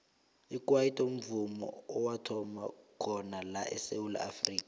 ikwaito mvumo owathoma khona la esewula afrika